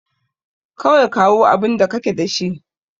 Kawai kawo abinda kake da shi.